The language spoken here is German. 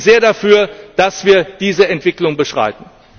Ich bin sehr dafür, dass wir diese Entwicklung beschreiten.